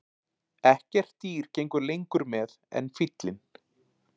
Ekkert dýr gengur lengur með en fíllinn.